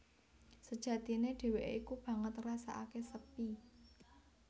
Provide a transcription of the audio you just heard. Sejatine dhéwéké iku banget ngrasakaké sepi